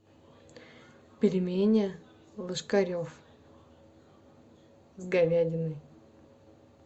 пельмени ложкарев с говядиной